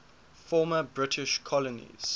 former british colonies